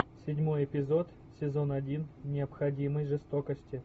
седьмой эпизод сезон один необходимой жестокости